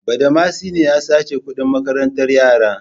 Badamasi ne ya sace kuɗin makarantar yara.